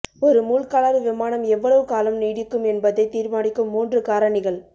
ஒரு மூழ்காளர் விமானம் எவ்வளவு காலம் நீடிக்கும் என்பதைத் தீர்மானிக்கும் மூன்று காரணிகள்